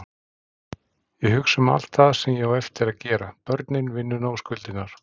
Ég hugsa um allt það sem ég á eftir að gera, börnin, vinnuna og skuldirnar.